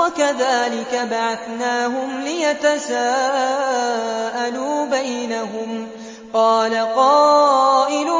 وَكَذَٰلِكَ بَعَثْنَاهُمْ لِيَتَسَاءَلُوا بَيْنَهُمْ ۚ قَالَ قَائِلٌ